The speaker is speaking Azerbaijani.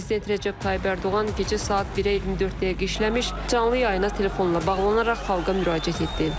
Prezident Rəcəb Tayyib Ərdoğan gecə saat 1-ə 24 dəqiqə işləmiş canlı yayına telefonla bağlanaraq xalqa müraciət etdi.